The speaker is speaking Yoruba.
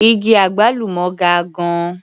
Igi àgbálùmọ́ ga gan-an.